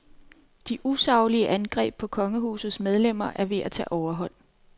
De usaglige angreb på kongehusets medlemmer er ved at tage overhånd.